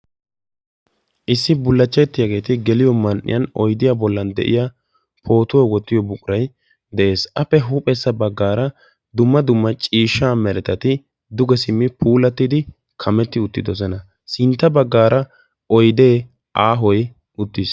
issi bullachchettiyageeti geliyo man'iyan de'iya oyidiya bollan de'iya pootuwa wottiyo buquray de'es. appe guyyessa baggaara dumma dumma ciishsha maly duge simmi puulattidi kametti uttidosona. sintta baggaara oyide aahoy uttis.